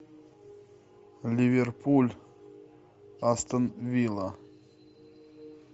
ливерпуль астон вилла